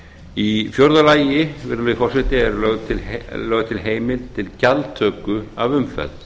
í fjórða lagi virðulegi forseti er lögð til heimild til gjaldtöku af umferð